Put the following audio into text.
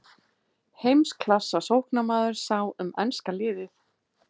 Heimsklassa sóknarmaður sá um enska liðið.